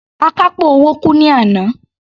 Akápò owó kú ní àná.